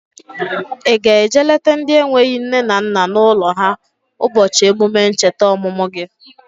Ị ga-eje lete ndị enweghị nne na nna n'ụlọ ha ụbọchị emume ncheta ọmụmụ gi?